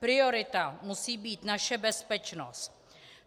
Priorita musí být naše bezpečnost.